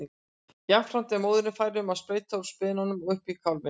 Jafnframt er móðirin fær um að sprauta úr spenanum upp í kálfinn.